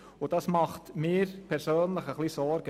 Dies bereitet mir persönlich Sorgen.